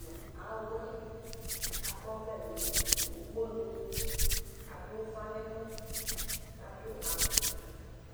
nu awɛ, k'akɔ'ʋlɛ nu ukponu, adu ufa n'ɛmɔ k'adu afukpa